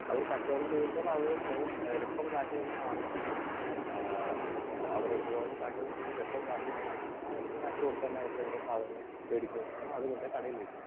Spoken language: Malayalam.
സ്പീക്കർ 2 അവർ കച്ചവടം ചെയ്യുമ്പോൾ അവർ അവര് രൊക്കം കാശ് തന്നെ വാങ്ങിക്കുന്നു. ആഹ് ആഹ് അവർ ഉപഭോക്താക്കളിൽ നിന്നും രൊക്കം കാശ് തന്നെ വാങ്ങിക്കുന്നു. ആ രൊക്കം കാശ് കൊടുത്ത് തന്നെ അവർ ഓരോ സാധനങ്ങൾ വാങ്ങിക്കുന്നു അതുകൊണ്ട് കടയിൽ വയ്ക്കുന്നു.